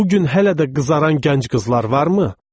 Bu gün hələ də qızaran gənc qızlar varmı?